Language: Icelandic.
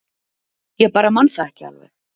Ég bara man það ekki alveg